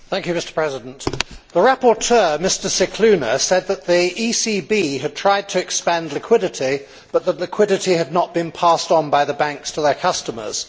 Mr President, the rapporteur, Mr Scicluna, said that the ECB had tried to expand liquidity, but that liquidity had not been passed on by the banks to their customers.